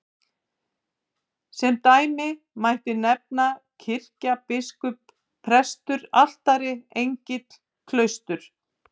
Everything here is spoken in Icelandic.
Sem dæmi mætti nefna kirkja, biskup, prestur, altari, engill, klaustur.